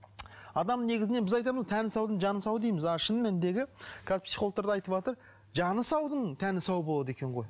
адам негізінен біз айтамыз тәні саудың жаны сау дейміз ал шын мәніндегі қазір психологтар да айтыватыр жаны саудың тәні сау болады екен ғой